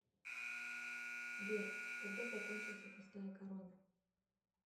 сбер когда закончился пустая корона